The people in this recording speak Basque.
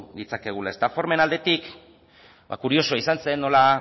ditzakegu formen aldetik kuriosoa izan zen nola